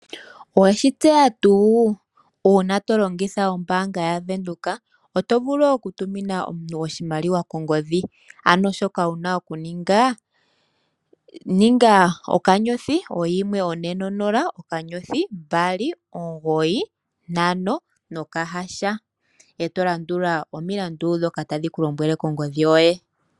Oweshi tseya tuu? Uuna to longitha ombaanga ya Venduka oto vulu oku tumina omuntu oshimaliwa kongodhi, ano shoka wuna oku ninga, ninga *140*295# eto landula omilandu dhoka tadhi ku lombwele kongodhi yoye.